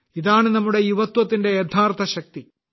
ഇതാണ് നമ്മുടെ യുവത്വത്തിന്റെ യഥാർത്ഥ ശക്തി